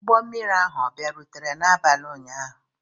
Ụgbọ mmiri ahụ ọ bịarutere n'abalị ụnyaahụ?